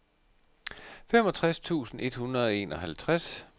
femogtres tusind et hundrede og enoghalvtreds